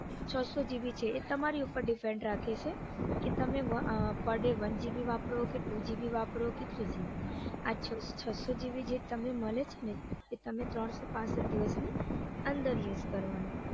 છસો gb છે એ તમારી ઉપર depend રાખે છે કે તમે per day one gb વાપરો કે two gb વાપરો કે three gb આ છસો gb જે તમને મળે છે ને એ તમે ત્રણસો પાંસઠ દિવસની અંદર યુજ કરવાનું